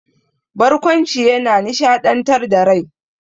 Barƙwanci yana nishaɗantar da rai.